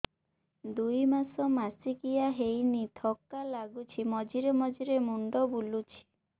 ଦୁଇ ମାସ ମାସିକିଆ ହେଇନି ଥକା ଲାଗୁଚି ମଝିରେ ମଝିରେ ମୁଣ୍ଡ ବୁଲୁଛି